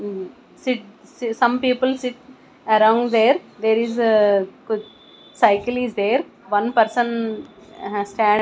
mm sit some people sit around there there is a cycle is there one person has stand.